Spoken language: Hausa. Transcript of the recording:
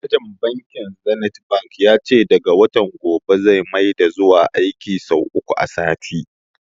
Manajan bankin zenith bank ya ce daga watan gobe zai maida zuwa aiki sau uku a sati